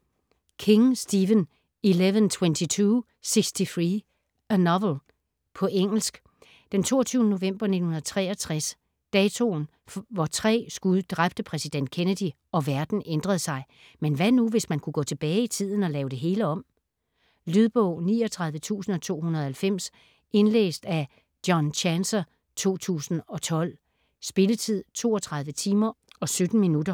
King, Stephen: 11.22.63: a novel På engelsk. Den 22. november 1963, datoen hvor tre skud dræbte præsident Kennedy, og verden ændrede sig. Men hvad nu hvis man kunne gå tilbage i tiden og lave det hele om? Lydbog 39290 Indlæst af John Chancer, 2012. Spilletid: 32 timer, 17 minutter.